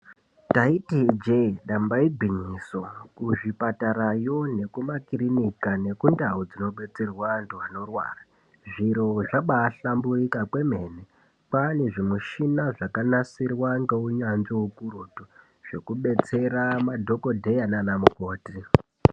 Ndaiti ijee ndamba igwinyiso. Kuzvipatarayo nekumakirinika nekundau dzinobetserwa antu anorwara, zviro zvabaahlamburika kwemene. Kwaa nezvimishina zvakanasirwa ngeunyanzvi ukurutu. Zvekubetsera madhokodheya naana mukoti.